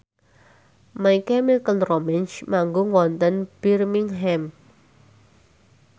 My Chemical Romance manggung wonten Birmingham